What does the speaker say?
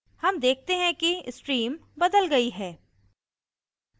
हम देखते हैं कि stream बदल गयी है